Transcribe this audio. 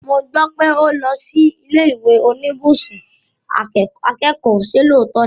Mo gbọ́ pé o lọ sí ilé ìwé oníbùsùn akẹ́kọ̀ọ́, ṣe lóòótọ́ ni?